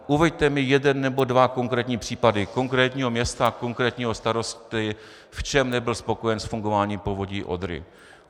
Uveďte mi jeden nebo dva konkrétní případy konkrétního města, konkrétního starosty, v čem nebyl spokojen s fungováním Povodí Odry.